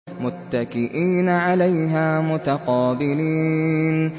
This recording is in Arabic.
مُّتَّكِئِينَ عَلَيْهَا مُتَقَابِلِينَ